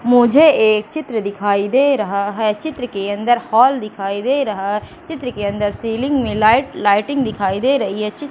मुझे एक चित्र दिखाई दे रहा है चित्र के अंदर हॉल दिखाई दे रहा चित्र के अंदर सीलिंग में लाइट लाइटिंग दिखाई दे रही है चित्र--